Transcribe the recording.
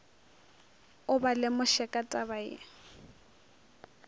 o ba lemoše ka tabaye